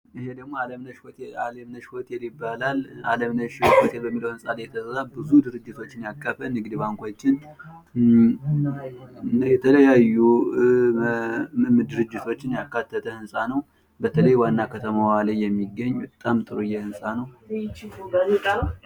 ይህ ደግሞ አለምነው ሆቴል ይባላል። አለምነሽ ህንጻ ላይ የተሰራ ብዙ ድርጅቶችን ያቀፈ ንግድ ባንኮችን እና የተለያዩ ድርጅቶችን ያካተተ ህንጻ ነው። በተለይ ዋና ከተማዋ ላይ የሚገኝ በጣም ጥሩዬ ህንጻ ነው።